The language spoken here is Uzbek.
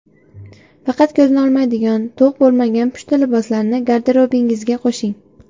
Faqat ko‘zni olmaydigan, to‘q bo‘lmagan pushti liboslarni garderobingizga qo‘shing.